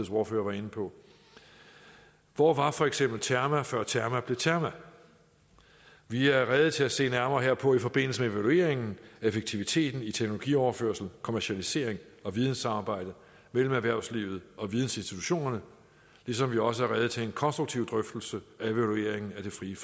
ordfører var inde på hvor var for eksempel terma før terma blev terma vi er rede til at se nærmere herpå i forbindelse med evalueringen af effektiviteten i teknologioverførsel kommercialisering og videnssamarbejde mellem erhvervslivet og vidensinstitutionerne ligesom vi også er rede til en konstruktiv drøftelse af evalueringen af det frie